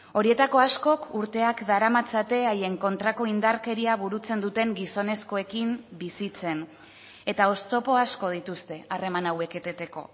horietako askok urteak daramatzate haien kontrako indarkeria burutzen duten gizonezkoekin bizitzen eta oztopo asko dituzte harreman hauek eteteko